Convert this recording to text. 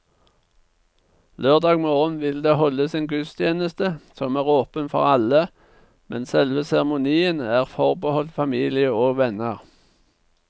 Lørdag morgen vil det holdes en gudstjeneste som er åpen for alle, men selve seremonien er forbeholdt familie og venner.